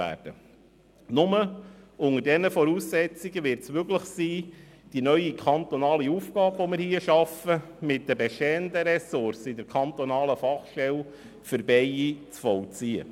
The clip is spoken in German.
Nur unter diesen Voraussetzungen wird es möglich sein, die neu geschaffene kantonale Aufgabe mit den bestehenden Ressourcen der kantonalen Fachstellen für Bienen zu vollziehen.